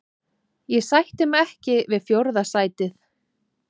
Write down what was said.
Ég sætti mig ekki við fjórða sætið.